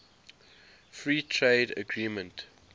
free trade agreement